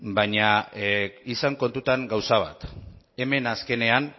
baina izan kontutan gauza bat hemen azkenean